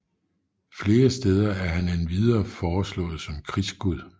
Flere steder er han endvidere foreslået som krigsgud